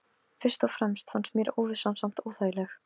Fyrst og fremst fannst mér óvissan samt óþægileg.